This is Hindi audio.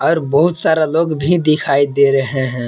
बहुत सारा लोग भी दिखाई दे रहे हैं।